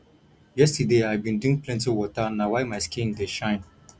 yesterday i bin drink plenty water na why my skin dey shine